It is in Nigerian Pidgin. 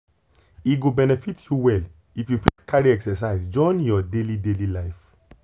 e go benefit you well if you fit carry exercise join your daily daily life